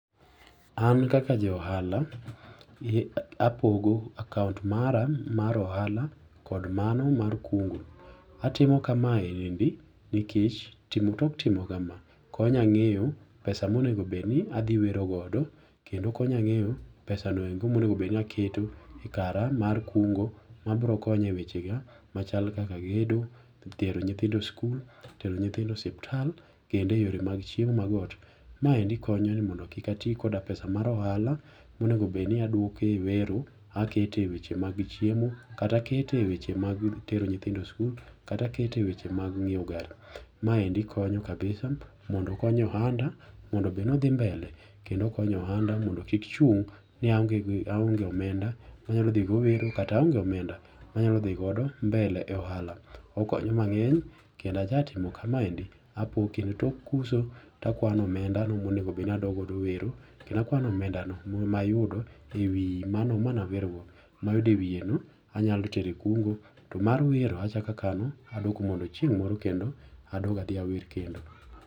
An kaka ja ohala, apogo account mara mar ohala kod mano mar kungo. Atimo kamaendi nikech timo tok timo kama, konya ng'eyo pesa monego bedni adhi wero godo, kendo konya ng'eyo pesano endo monego bedni aketo ekara mar kungo mabiro konya ewechega machal kaka gedo, tero nyithindo e skul, tero nyithindo osiptal kendo eyore mag chiemo mag ot. Maendi konyo ni mondo kik ati koda pesa mar ohala monego bedni aduoko ewero aketo eweche mag chiemo kata aketeweche mag tero nyithindo skul kata aketo eweche mag ng'iewo gare. Maendi konyo kabisa mondo konyo ohanda mondo bed nodhi mbele kendo okonyo ohanda mondo kik chung' niaonge ni aonge omenda manyalo dhigo wero kata aonge omenda manyalo dhigodo mbele e ohala. Okonyo mang'eny kendo aja timo kamaendi apoge, tok uso takwano omenda mayudo ewi manawerogo. Mayudo ewiyeno anyalo tero ekungo to mar wero achako akano mondo chieng' moro adog adhi awer kendo.